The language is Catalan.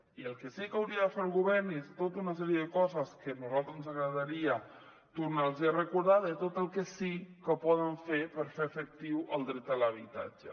i el que sí que hauria de fer el govern és tota una sèrie de coses que a nosaltres ens agradaria tornar los a recordar de tot el que sí que poden fer per fer efectiu el dret a l’habitatge